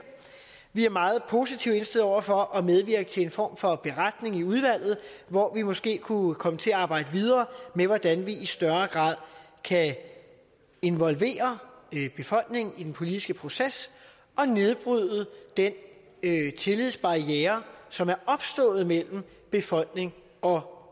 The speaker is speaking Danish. vi er meget positivt indstillet over for at medvirke til en form for beretning i udvalget hvor vi måske kunne komme til at arbejde videre med hvordan vi i større grad kan involvere befolkningen i den politiske proces og nedbryde den tillidsbarriere som er opstået mellem befolkning og